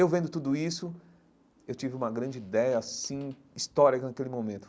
Eu vendo tudo isso, eu tive uma grande ideia assim histórica naquele momento.